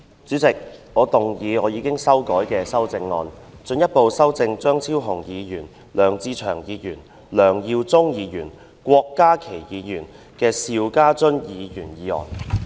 主席，我動議我經修改的修正案，進一步修正經張超雄議員、梁志祥議員、梁耀忠議員及郭家麒議員修正的邵家臻議員議案。